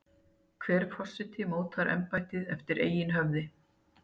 Hver forseti mótar embættið eftir eigin höfði.